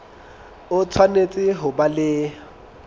o tshwanetse ho ba le